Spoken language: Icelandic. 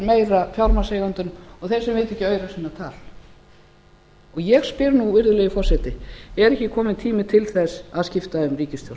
meira fjármagnseigendum og þeirra sem vita ekki aura sinna tal ég spyr nú virðulegi forseti er ekki kominn tími til þess að skipta um ríkisstjórn